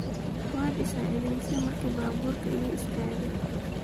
Waad iisacidheyse marki baburka ikaistake.